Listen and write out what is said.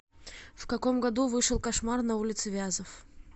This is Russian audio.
в каком году вышел кошмар на улице вязов